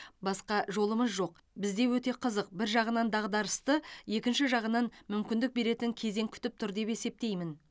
басқа жолымыз жоқ бізде өте қызық бір жағынан дағдарысты екінші жағынан мүмкіндік беретін кезең күтіп тұр деп есептеймін